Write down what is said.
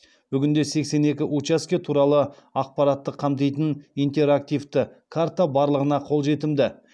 бүгінде сексен екі учаске туралы ақпаратты қамтитын интерактивті карта барлығына қолжетімді